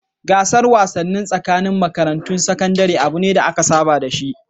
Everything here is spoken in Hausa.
Gasar wasanni tsakanin makarantun sakandare abu ne da aka saba da shi.